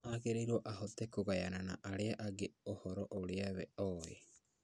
Agĩrĩirwo ahote kũgayana na arĩa angĩ ũhoro ũrĩa we oĩ